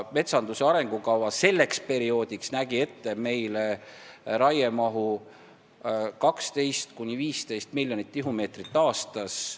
Metsanduse arengukava selleks perioodiks nägi raiemahuks ette 12–15 miljonit tihumeetrit aastas.